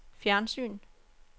fjernsyn